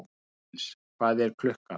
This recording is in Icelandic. Hallgils, hvað er klukkan?